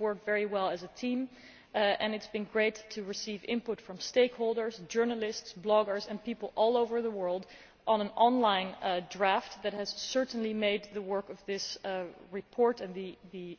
We have worked very well as a team and it has been great to receive input from stakeholders, journalists, bloggers and people all over the world on an online draft that has certainly made the work of this report and the